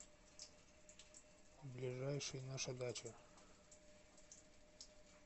ближайший наша дача